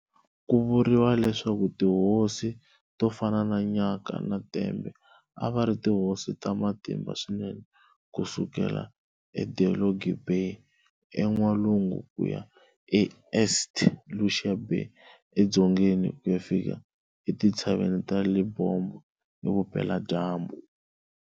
Ku vuriwa leswaku tihosi to fana na Nyaka na Tembe a va ri tihosi ta matimba swinene ku sukela eDelagoa Bay, eN'walungu ku ya eSt. Lucia Bay edzongeni, ku ya fika etintshaveni ta Lebombo, evupeladyambu.